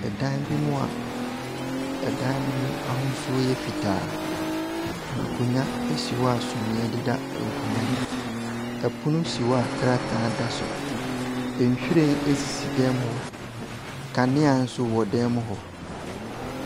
Dan bi mu a dan no mu ahosuo yɛ fitaa. Nkonnwa si hɔ a sumiiɛ deda nkonnwa no mu. Pono si hɔ a krataa da so. Nhwiren sisi dan mu hɔ. Nkanea nso wɔ dan mu hɔ.